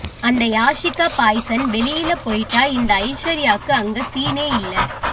அந்த யாஷிகா பாய்சன் வெளியில போயிட்டா இந்த ஐஸ்வர்யாக்கு அங்க சீனே இல்ல